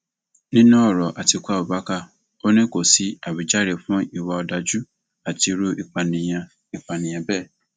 nínú ọrọ àtikukú abubakar ò ní kó sí àwíjàre fún ìwà ọdájú àti irú ìpànìyàn ìpànìyàn bẹẹ